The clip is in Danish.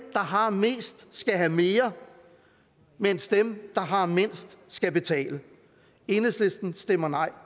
har mest skal have mere mens dem der har mindst skal betale enhedslisten stemmer nej